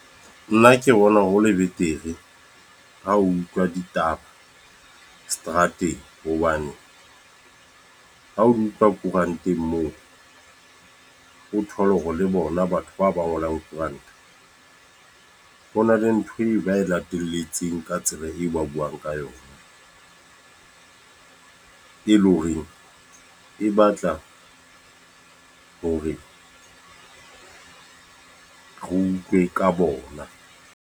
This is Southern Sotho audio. Nna ke bona hole betere ha o utlwa ditaba, seterateng. Hobane ha o di utlwa koranteng moo, o thole hore le bona batho bao ba ngolang koranta. Ho na le ntho e ba e latelletseng ka tsela eo ba buang ka yona. E leng horeng e batla hore re utlwe ka bona.